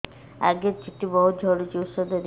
ଆଜ୍ଞା ଚୁଟି ବହୁତ୍ ଝଡୁଚି ଔଷଧ ଦିଅ